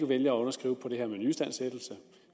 vælger at underskrive på det her med nyistandsættelse